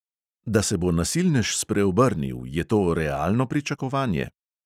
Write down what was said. Da se bo nasilnež spreobrnil, je to realno pričakovanje?